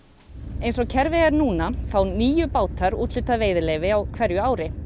eins og kerfið er núna fá níu bátar úthlutað veiðileyfi á hverju ári